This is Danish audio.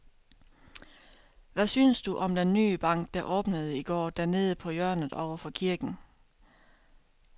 Hvad synes du om den nye bank, der åbnede i går dernede på hjørnet over for kirken?